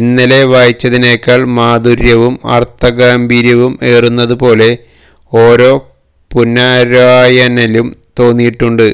ഇന്നലെ വായിച്ചതിനേക്കാള് മാധുര്യവും അര്ത്ഥ ഗാംഭീര്യവും ഏറുന്നതുപോലെ ഓരോ പുനര്വായനയിലും തോന്നിയിട്ടുണ്ട്